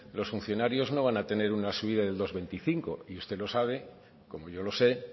los funcionarios no van a tener una subida del dos coma veinticinco y usted lo sabe como yo lo sé